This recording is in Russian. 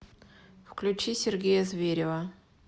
включи сергея зверева